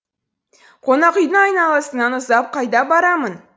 қонақүйдің айналасынан ұзап қайда барамын